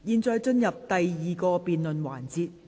現在進入第二個辯論環節。